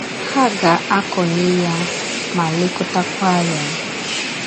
Ha ga - akọnye ya ma lekọtakwa ya. ”